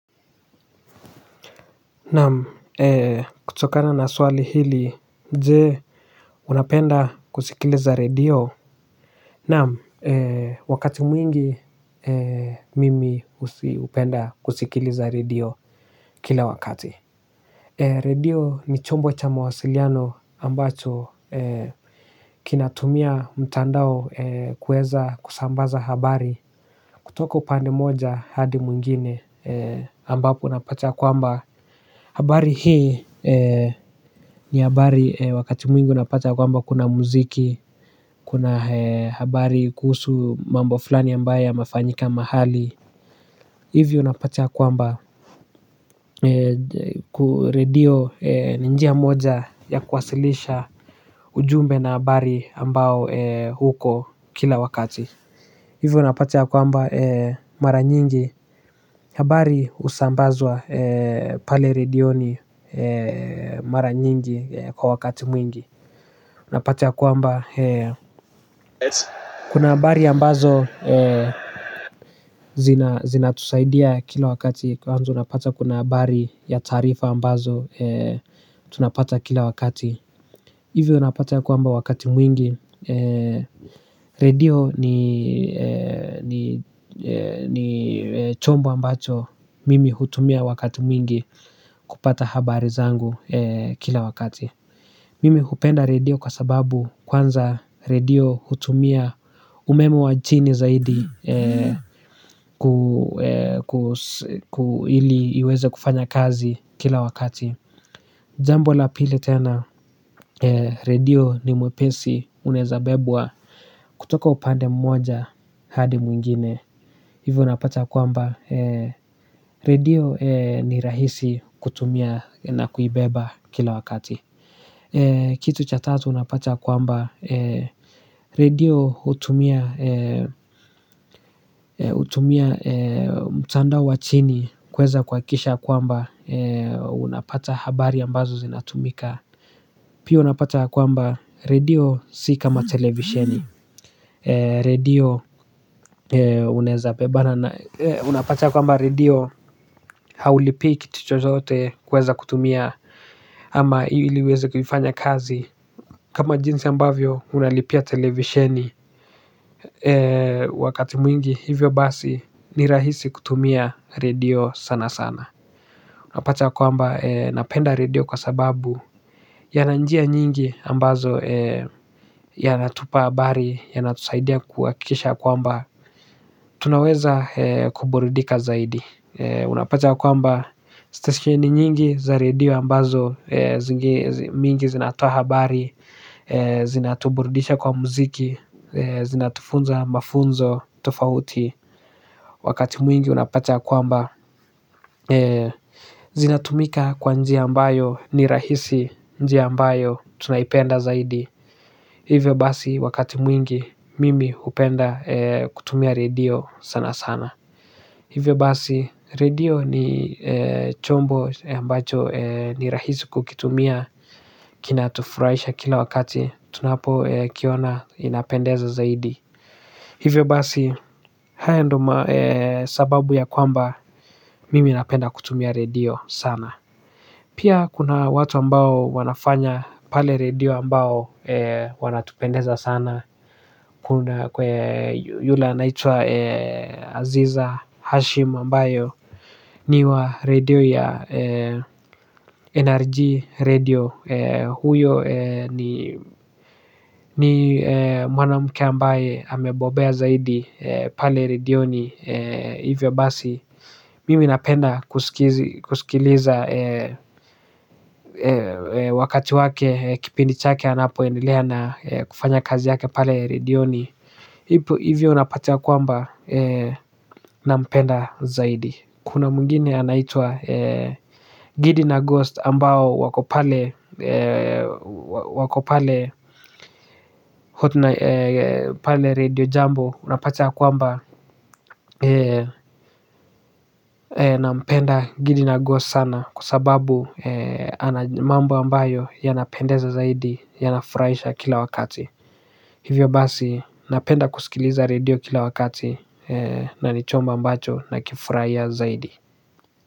Naam kutokana na swali hili je. Unapenda kusikiliza radio? Naam wakati mwingi mimi usi hupenda kusikiliza radio kila wakati. Radio ni chombo cha mawasiliano ambacho kinatumia mtandao kuweza kusambaza habari. Kutoka upande moja hadi mwingine ambapo napata kwamba habari hii ni habari wakati mwingi unapata kwamba kuna muziki, kuna habari kuhusu mambo fulani ambayo yamefanyika mahali. Hivyo unapata kwamba ku redio ni njia moja ya kuwasilisha ujumbe na habari ambao uko kila wakati. Hivyo unapata ya kwamba mara nyingi. Habari husambazwa pale redioni mara nyingi kwa wakati mwingi. Unapata ya kwamba kuna habari ambazo zinatusaidia kila wakati. Kwanza unapata ya kuna habari ya tarifa ambazo tunapata kila wakati. Hivyo unapata ya kwamba wakati mwingi. Radio ni ni chombo ambacho mimi hutumia wakati mwingi kupata habari zangu kila wakati. Mimi hupenda radio kwa sababu kwanza radio hutumia umeme wa chini zaidi. Ku ili iweze kufanya kazi kila wakati jambo la pili tena radio ni mwepesi unaeza bebwa kutoka upande mmoja hadi mwingine. Hivyo unapata kwamba radio ni rahisi kutumia na kuibeba kila wakati. Kitu cha tatu unapata kwamba radio hutumia mtandao wa chini kuweza kuhakikisha kwamba unapata habari ambazo zinatumika. Pia unapata ya kwamba radio si kama televisheni. Radio unaeza bebana. Unapata kwamba radio haulipi kitu chochote kuweza kutumia ama ili uweze kuifanya kazi. Kama jinsi ambavyo unalipia televisheni. Wakati mwingi hivyo basi ni rahisi kutumia radio sana sana. Unapata kwamba napenda radio kwa sababu yana njia nyingi ambazo yanatupa habari, yanatusaidia kuhakikisha kwamba tunaweza kuburidika zaidi unapata kwamba steaheni nyingi za redio ambazo zinge mingi zinatoa habari zinatuburudisha kwa muziki zinatufunza mafunzo tofauti wakati mwingi unapata kwamba zinatumika kwa njia ambayo ni rahisi njia ambayo tunaipenda zaidi hivyo basi wakati mwingi mimi hupenda kutumia radio sana sana hivyo basi radio ni chombo ambacho ni rahisi kukitumia kinatufurahisha kila wakati tunapo kiona inapendeza zaidi hivyo basi haya ndo sababu ya kwamba mimi napenda kutumia radio sana pia kuna watu ambao wanafanya pale radio ambao wanatupendeza sana. Kuna kwe yule anaitwa Aziza Hashim ambayo ni wa radio ya NRG radio. Huyo ni mwanamke ambaye ame bobea zaidi pale redioni. Hivyo basi Mimi napenda kusikiliza wakati wake kipindi chake anapo endelea na kufanya kazi yake pale redioni. Hivyo unapata ya kwamba nampenda zaidi. Kuna mwingine anaitwa gidi na ghost ambao wako pale radio jambo. Unapata ya kwamba nampenda gidi na ghost sana. Kwa sababu ana mambo ambayo yanapendeza zaidi yanafurahisha kila wakati. Hivyo basi napenda kusikiliza radio kila wakati. Na ni chombo ambacho na kifurahia zaidi.